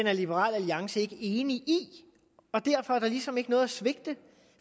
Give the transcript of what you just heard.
er liberal alliance ikke enige i og derfor er der ligesom ikke noget at svigte